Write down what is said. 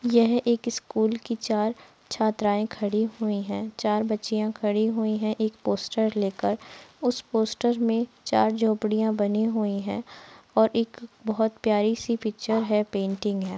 यह एक स्कूल की चार छात्राएँ खड़ी हुई हैं। चार बच्चियां खड़ी हुई हैं एक पोस्टर लेकर। उस पोस्टर में चार झोंपड़ियाँ बनी हुई हैं और एक बोहोत प्यारी सी पिक्चर है पेंटिंग है।